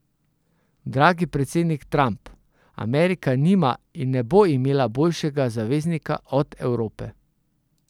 Dragi predsednik Trump, Amerika nima in ne bo imela boljšega zaveznika od Evrope.